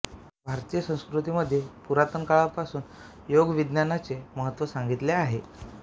भारतीय संस्कृतीमध्ये पुरातन काळापासून योगविज्ञानाचे महत्त्व सांगितले आहे